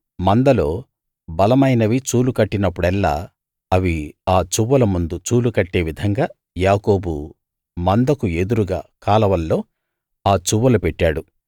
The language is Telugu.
మందలో బలమైనవి చూలు కట్టినప్పుడెల్లా అవి ఆ చువ్వల ముందు చూలు కట్టే విధంగా యాకోబు మందకు ఎదురుగా కాలవల్లో ఆ చువ్వలు పెట్టాడు